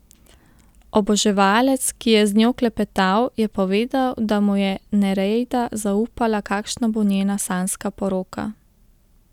Oboževalec, ki je z njo klepetal, je povedal, da mu je Nereida zaupala, kakšna bo njena sanjska poroka.